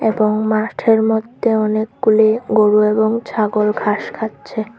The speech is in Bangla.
এবং মাঠের মধ্যে অনেকগুলি গরু এবং ছাগল ঘাস খাচ্ছে।